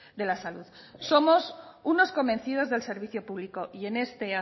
de la salud somos unos convencidos del servicio público y en este